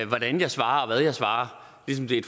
hvordan jeg svarer og hvad jeg svarer ligesom det er